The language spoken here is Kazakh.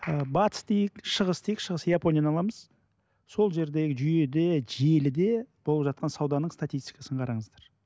ы батыс дейік шығыс дейік шығыс японияны аламыз сол жердегі жүйеде желіде болып жатқан сауданың статитикасын қараңыздар